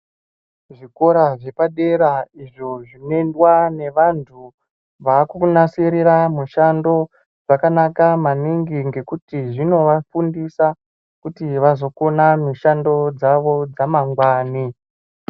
Zvikora zvepadera izvo zvinoendwa nevantu vakunasisrira mishando kwakanaka maningi ngekuti zvinovafundisa kuzooona mishando dzawo dzamangwani.